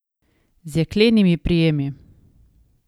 Z jeklenimi prijemi.